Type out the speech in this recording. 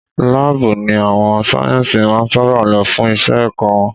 Laabu ni àwọn sáyẹ́nsì máa ń sábà lo fún Iṣẹ́ ẹ̀kọ́ wọn.